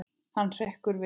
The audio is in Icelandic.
Hann hrekkur við.